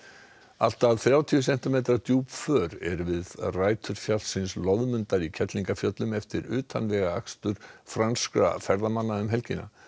allt að þrjátíu sentimetra djúp för eru við rætur fjallsins Loðmundar í Kerlingarfjöllum eftir utanvegaakstur franskra ferðamanna um helgina